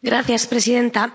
Señora presidenta,